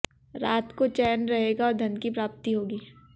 रात को चैन रहेगा और धन की प्राप्ति होगी